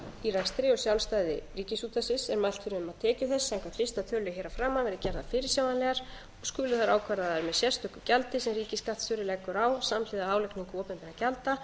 í rekstri og sjálfstæði ríkisútvarpsins er mælt fyrir um að tekjur þess samkvæmt fyrsta tölulið hér að framan verði gerðar fyrirsjáanlegar og skulu þær ákvarðaðar með sérstöku gjaldi sem ríkisskattstjóri leggur á samhliða álagningu opinberra gjalda